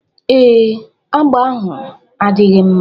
Ee, agba ahụ adịghị mma